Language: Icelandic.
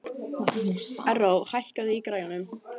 Erró, hækkaðu í græjunum.